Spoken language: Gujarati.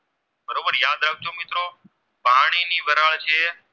વરાળ છે